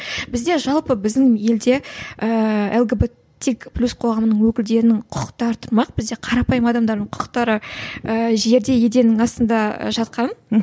бізде жалпы біздің елде ііі лгбтик плюс қоғамының өкілдерінің құқықтары тұрмақ бізде қарапайым адамдардың құқықтары ыыы жерде еденнің астында жатқан